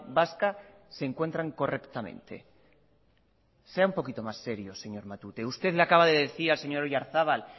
vasca se encuentran correctamente sea un poquito más serio señor matute usted le acaba de decir al señor oyarzaba